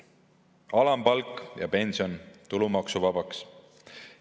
Alampalk ja pension tulumaksuvabaks.